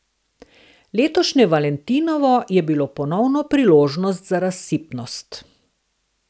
Letošnje valentinovo je bilo ponovno priložnost za razsipnost.